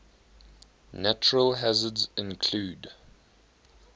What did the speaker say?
natural hazards include